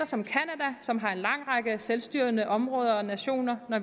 som canada som har en lang række selvstyrende områder og nationer